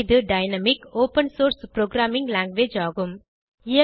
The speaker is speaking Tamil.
இது dynamic open source programming language ஆகும்